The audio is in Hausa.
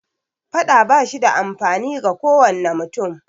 Faɗa ba shi da amfani ga kowane mutum